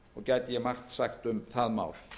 gæti ég margt sagt um það mál